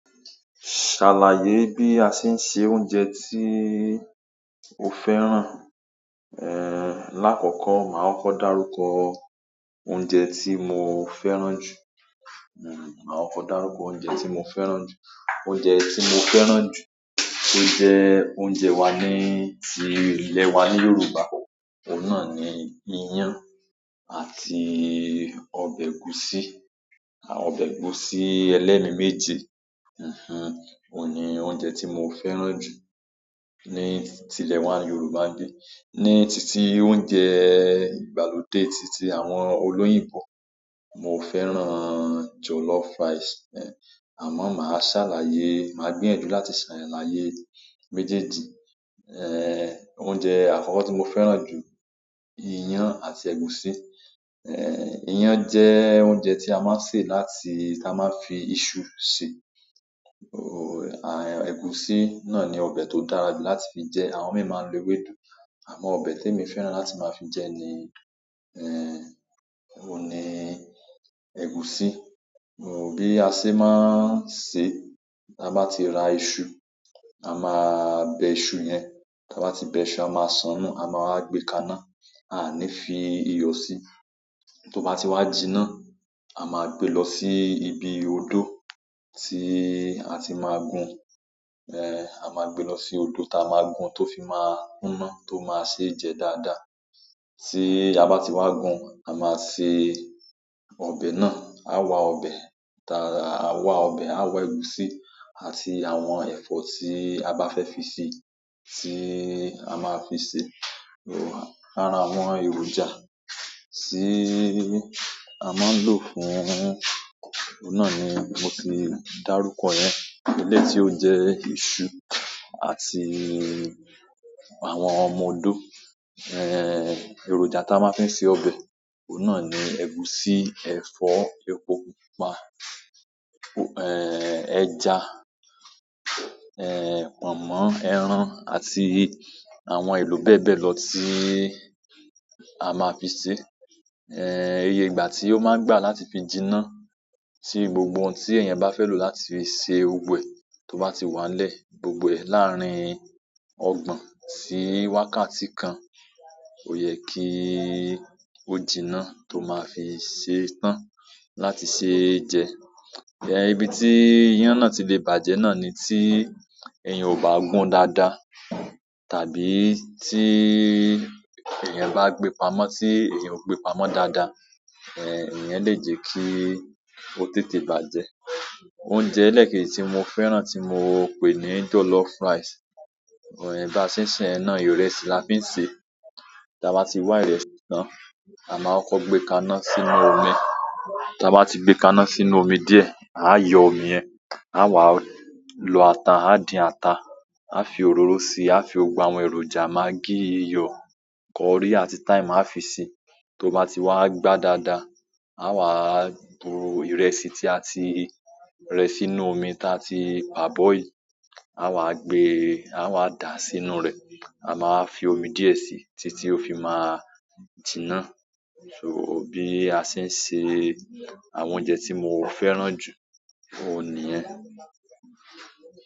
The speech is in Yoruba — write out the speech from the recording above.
Ṣàlàyé bí a ṣe ń se oúnjẹ tí o fẹ́ràn. Ehn, lákọ̀ọ̀kọ́ màá kọ́kọ́ dárúkọ oúnjẹ ti mo fẹ́ràn ju, ma kọ́kọ́ darukọ ti mo fẹ́ràn ju. Oúnjẹ ti mo fẹ́ràn ju to jẹ oúnjẹ wa ni ti ilẹ wa ni yorùbá oun ni iyan àti ọbẹ ẹgusi. Àwọn ọbẹ̀ ẹ̀gúsí ẹlẹ́mi méje, mhm, òun ni oúnjẹ tí mo fẹ́ràn jù ní ti ilé wa Yorùbá ni. Ni titi oúnjẹ ìgbàlódé titi àwọn olóyìnbo, mo fẹ́ràn jollof rice. Ehn, àmọ́ màá ṣàlàyé, màá gbíyànjú láti ṣàlàyé méjèèjì. Ehn, oúnjẹ àkọ́kọ́ tí mo fẹ́ràn jù, iyán àti ẹ̀gúsí. Ehn, iyán jẹ́ oúnjẹ tí a máa ń sè láti-- tí a máa ń fi iṣu ṣe. Oh, à, ẹ̀gúsí náà ni ọbẹ̀ tó dára jù láti fi jẹ, àwọn mìí maa n lo ewédú. Àmọ́ ọbẹ̀ tí èmi fẹ́ràn láti máa fi jẹ ni, ehn, òun ni ẹ̀gúsí. Oh, bí a ṣe máa ń ṣe, tí a bá ti ra iṣu, a máa bẹ iṣu yẹn. Tí a bá ti bẹ iṣu, a máa sán nub, a máa wa gbé kaná, a ní fi iyọ̀ sí. Tó bá ti wá jiná, a máa gbé lọ sí ibi odó tí a ti máa gun. Ẹhn, a maa gbe lọ si odó ta maa gbun to fi ma kunna to ma se jẹ dáadáa tí a bá ti wá gun, a máa se ọbẹ̀ náà. A wá ọbẹ̀, ta-- a wá ọbẹ̀, a wá ẹ̀gúsí àti àwọn ẹ̀fọ́ tí a bá fẹ́ fi sè, tí a máa fi sè. Lára àwọn èròjà ti a maa n lo fún oun náà ni mo ti darukọ yẹn, eleyii ti o jẹ isu àti àwọn ọmọ odó èròjà ta máa ń fi se ọbẹ̀, òun náà ni ẹ̀gúsí, ẹ̀fọ́, epo pupa, e-ehn, ẹja, ehn, pọ̀nmọ́, ẹran àti àwọn èlò bẹ́ẹ̀ bẹ́ẹ̀ lọ tí á máa fi sè. Iye ìgbà tí ó máa ń gbà láti fi jiná, tí gbogbo ohun tí eeyàn bá fẹ́ lò láti fi ṣe gbogbo ẹ tó bá ti wá n lẹ́, gbogbo ẹ̀ láàárín ọgbọ̀n sí wákàtí kan, ò yẹ kí ó jiná tó máa fi ṣe tán láti ṣe jẹ. Eh, ibi tí iyán náà ti lè bàjẹ́ náà ni tí eeyan ò bá gun dáadáa tàbí tí eeyan bá gbe pamọ́ tí eeyan ò gbe pamọ́ dáadáa, ehn, iyẹn lè jẹ́ kí ó tètè bàjẹ́. Oúnjẹ ẹlẹ́keji tí mo fẹ́ràn tí mo pè ní jollof rice, ehn bá se n se iyẹn ná ìrẹsì là fi ń ṣe. Ta bá ti wá ìrẹsì tan, à máá kọ́kọ́ gbé kaná sínú omi. Ta bá ti gbé kaná sínú omi díẹ̀, a yọ omi yẹn, a wá lọ ata, a dín ata, a fi òróró si, a fi gbogbo àwọn èròjà maggi, iyọ̀, curry àti thyme a fi si. To ba ti wa gbaa dáadáa, a wa to ìrẹsì ti a ti rẹ sínú omi ti àti parboiled a wa gbe, a wa da sínú rẹ. A ma wa fi omi diẹ si titi ti o fi ma jina so bí a ṣe ń se àwọn oúnjẹ tí mo fẹ́ràn jù, òun niyẹn.